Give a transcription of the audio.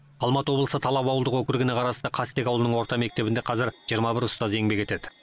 алматы облысы талап ауылдық округіне қарасты қастек ауылының орта мектебінде қазір жиырма бір ұстаз еңбек етеді